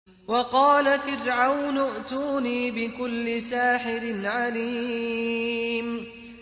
وَقَالَ فِرْعَوْنُ ائْتُونِي بِكُلِّ سَاحِرٍ عَلِيمٍ